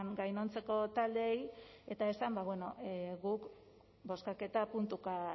gainontzeko taldeei eta esan bueno guk bozkaketa puntuka